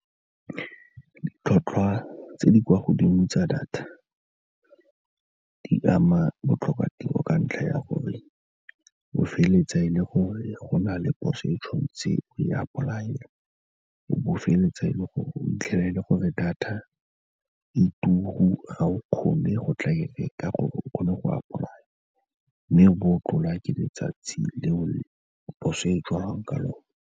Ditlhotlhwa tse di kwa godimo tsa data di ama botlhokatiro ka ntlha ya gore o feleletsa e le gore go na le poso e ntshwantse o e apply-ele, o bo o feleletsa e le gore, o fitlhela e le gore data e turu ga o kgone go tla e reka or-e o kgone go apply-a, mme bo o tlholwa ke letsatsi leo poso e tswalwang ka yone.